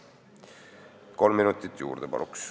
Palun kolm minutit juurde!